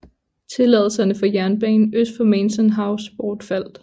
Tilladelserne for jernbanen øst for Mansion House bortfaldt